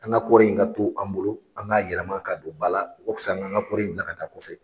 An ka kɔɔri in ka to an bolo an k'a yɛlɛma ka don ba la o ka fisa an k'an ka kɔɔri in bila ka taa kɔfɛ.